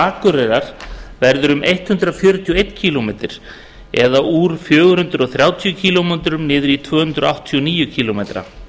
akureyrar verður hundrað fjörutíu og einn kílómetra eða úr fjögur hundruð þrjátíu kílómetra niður í tvö hundruð áttatíu og níu kílómetra